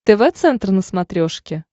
тв центр на смотрешке